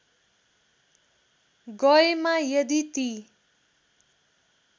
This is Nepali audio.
गएमा यदि ती